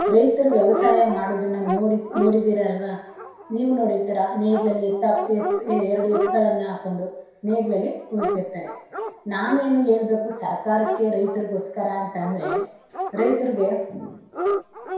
ರೈತರು ವ್ಯವಸಾಯ, ಮಾಡೋದನ್ನ ನೋಡಿ~ ನೋಡಿದಿರ ಅಲ್ವಾ ನೀವು ನೋಡಿರ್ತೀರಾ ನೇಗ್ಲಲಿ ಎರಡು ಎತ್ತುಗಳನ್ನ ಹಾಕೊಂಡ್ ನೇಗ್ಲಲ್ಲಿ ಉಳ್ತಿರ್ತಾರೆ. ನಾನೇನ್ ಹೇಳಬೇಕು ಸರ್ಕಾರಕ್ಕೆ ರೈತರಿಗೋಸ್ಕರ ಅಂತ ಅಂದ್ರೆ ರೈತರಿಗೆ ಅವರನ.